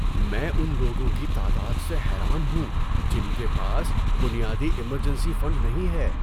میں ان لوگوں کی تعداد سے حیران ہوں جن کے پاس بنیادی ایمرجنسی فنڈ نہیں ہے۔